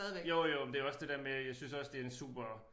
Jo jo men det jo også det der med jeg synes også det en super